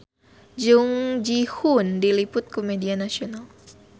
Jung Ji Hoon diliput ku media nasional